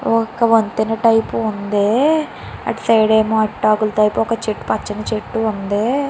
ఒక వంతెన టైపు ఉంది అటు సైడ్ ఆరిటాకుల టైపు ఒక పచ్చని చెట్టు ఉంది.